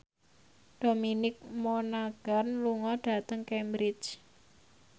Dominic Monaghan lunga dhateng Cambridge